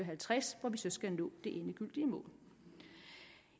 halvtreds hvor vi så skal nå det endegyldige mål